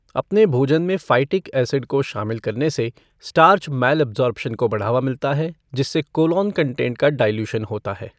अपने भोजन में फ़ाइटिक एसिड को शामिल करने से स्टार्च मैलऐब्सॉर्प्शन को बढ़ावा मिलता है जिससे कोलोन कंटेंट का डाइल्यूशन होता है।